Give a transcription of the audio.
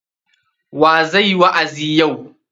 Wa zai yi wa'azi yau?